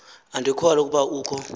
andikholwa ukuba ukho